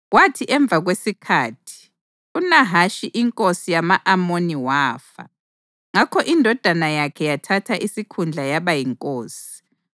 Kwathi emva kwesikhathi, uNahashi inkosi yama-Amoni wafa, ngakho indodana yakhe yathatha isikhundla yaba yinkosi.